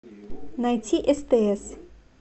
найти стс